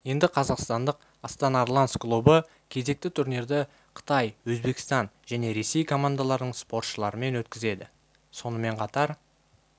енді қазақстандық астана арланс клубы кезекті турнирді қытай өзбекстан және ресей командаларының спортшыларымен өткізеді сонымен қатар